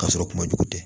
K'a sɔrɔ kuma jugu tɛ